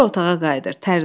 Sonra otağa qayıdır.